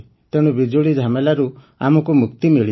ତେଣୁ ବିଜୁଳି ଝାମେଲାରୁ ଆମକୁ ମୁକ୍ତି